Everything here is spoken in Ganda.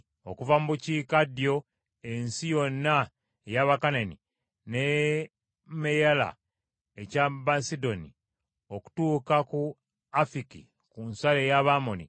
Okuva mu bukiikaddyo ensi yonna ey’Abakanani, ne Meyala ekya Basidoni, okutuuka ku Afiki, ku nsalo ey’Abamoli,